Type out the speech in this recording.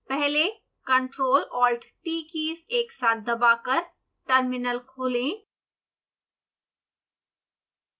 पहले ctrl+alt+t keys एक साथ दबाकर टर्मिनल खोलें